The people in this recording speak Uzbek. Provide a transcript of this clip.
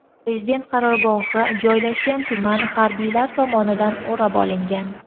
Prezident qarorgohi joylashgan tuman harbiylar tomonidan o‘rab olingan.